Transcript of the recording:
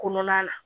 Kɔnɔna la